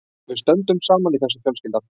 Við stöndum saman í þessu fjölskyldan.